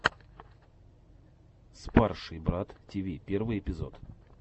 спарший брат тиви первый эпизод